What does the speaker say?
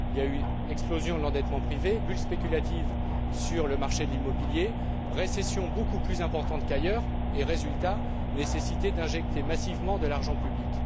Il y a eu explosion de l'endettement privé, bulle spéculative sur le marché de l'immobilier, récession beaucoup plus importante qu'ailleurs et, résultat, nécessité d'injecter massivement de l'argent public.